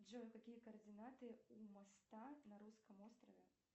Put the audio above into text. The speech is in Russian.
джой какие координаты у моста на русском острове